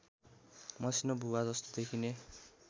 मसिनो भुवाजस्तो देखिने